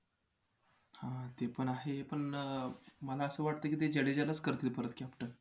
हां हां तेपण आहे पण मला असं वाटतंय की ते जडेजालाच करतील परत captain